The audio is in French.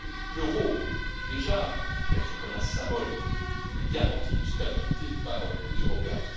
L'euro est déjà perçu comme un symbole et comme une garantie de stabilité par les Européens.